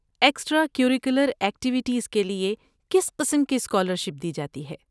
Extra curricular activities کے لیے کس قسم کی اسکالرشپ دی جاتی ہے؟